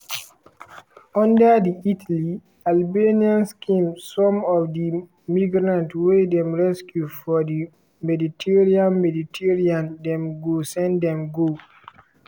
under di italy-albania scheme some of di migrants wey dem rescue for di mediterranean mediterranean dem go send dem go